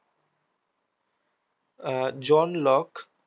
ah John lock